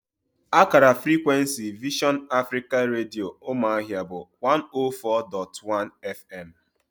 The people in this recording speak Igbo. Akara frikwensi Vision Africa Redio, Ụmụahịa bụ 104.1 fm